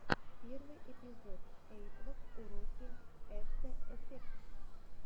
первый эпизод эйиплаг уроки эфтэ эфектс